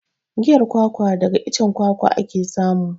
Giyan kwakwa daga icen kwakwa ake samu.